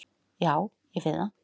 Já, ég finn það.